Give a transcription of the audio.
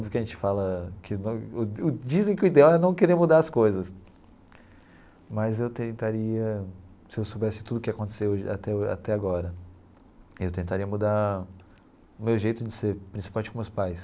Tudo o que a gente fala que dizem que o ideal é não querer mudar as coisas, mas eu tentaria, se eu soubesse tudo o que aconteceu até até agora, eu tentaria mudar o meu jeito de ser, principalmente com os meus pais.